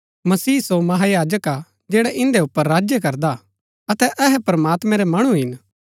मसीह सो महायाजक हा जैड़ा इन्दै ऊपर राज्य करदा हा अतै अहै प्रमात्मैं रै मणु हिन